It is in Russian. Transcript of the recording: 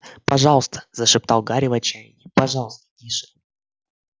пожалуйста зашептал гарри в отчаянии пожалуйста тише